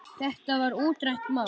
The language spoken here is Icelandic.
Þetta var útrætt mál.